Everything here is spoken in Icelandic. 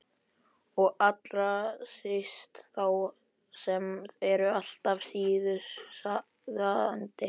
Og allra síst þá sem eru alltaf sísuðandi.